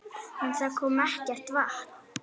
En það kom ekkert vatn.